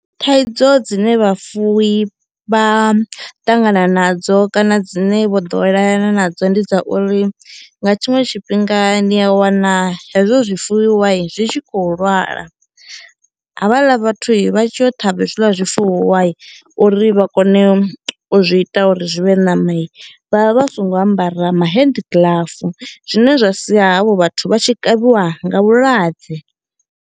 Thaidzo dzine vhafuwi vha ṱangana nadzo kana dzine vho ḓowelelana nadzo ndi dza uri nga tshiṅwe tshifhinga ni a wana hezwo zwi fuwiwai zwi tshi khou lwala havhaḽa vhathui vha tshi yo ṱhavha hezwiḽa zwifuwa uri vha kone u zwi ita uri zwi vhe ṋamai vhavha vha songo ambara ma hand gloves zwine zwa sia havho vhathu vha tshi kavhiwa nga vhulwadze.